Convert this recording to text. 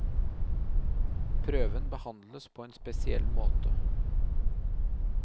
Prøven behandles på en spesiell måte.